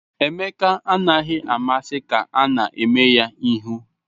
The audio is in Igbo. Emeka anaghị amasị ka a na-eme ya ihu